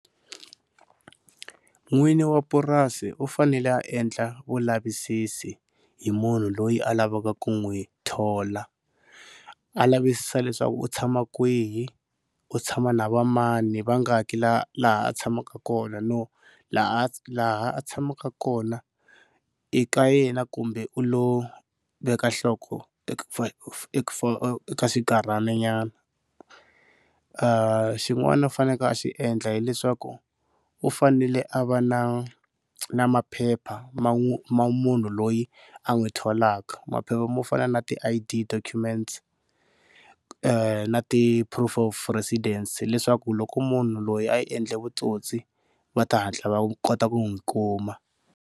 N'wini wa purasi u fanele a endla vulavisisi hi munhu loyi a lavaka ku n'wi thola, a lavisisa leswaku u tshama kwihi u tshama na va mani vangaki laha laha a tshamaka kona no laha laha a tshamaka kona i ka yena kumbe u lo veka nhloko eka xinkarhananyana. Xin'wana a fanekele a xi endla hileswaku u fanele a va na na maphepha ma ma munhu loyi a n'wi tholaka maphepha mo fana na ti-I_D, documents na ti-proof of residence leswaku loko munhu loyi a endle vutsotsi va ta hatla va kota ku n'wi kuma.